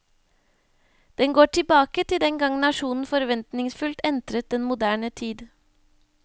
Den går tilbake til den gang nasjonen forventningsfullt entret den moderne tid.